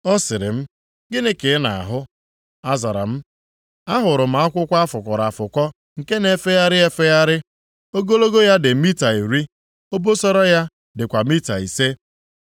Ọ sịrị m, “Gịnị ka ị na-ahụ?” Azara m, “Ahụrụ m akwụkwọ a fụkọrọ afụkọ nke na-efegharị efegharị. Ogologo ya dị mita iri, obosara ya dịkwa mita ise.”